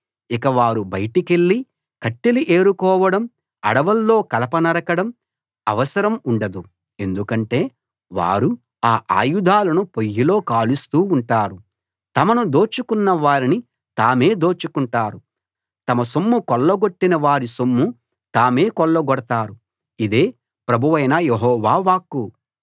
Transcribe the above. ఇక వారు బయటికెళ్ళి కట్టెలు ఏరుకోవడం అడవుల్లో కలప నరకడం అవసరం ఉండదు ఎందుకంటే వారు ఆ ఆయుధాలను పొయ్యిలో కాలుస్తూ ఉంటారు తమను దోచుకొన్న వారిని తామే దోచుకుంటారు తమ సొమ్ము కొల్లగొట్టిన వారి సొమ్ము తామే కొల్లగొడతారు ఇదే ప్రభువైన యెహోవా వాక్కు